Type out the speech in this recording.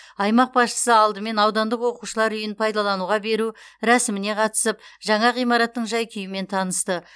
аймақ басшысы алдымен аудандық оқушылар үйін пайдалануға беру рәсіміне қатысып жаңа ғимараттың жай күйімен танысты